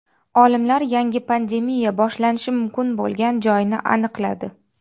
Olimlar yangi pandemiya boshlanishi mumkin bo‘lgan joyni aniqladi.